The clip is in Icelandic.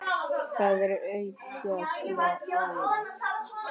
Það er aukið álag.